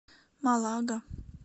малага